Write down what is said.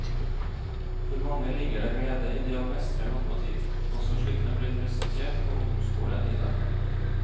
For mange ligger det glede i det å mestre matematikk, også slik den blir presentert på ungdomsskolen i dag.